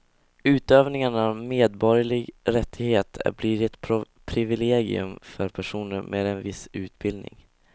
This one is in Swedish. Utövningen av en medborgerlig rättighet blir ett privilegium för personer med en viss utbildning.